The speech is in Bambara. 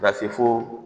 Ka se fo